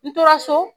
N tora so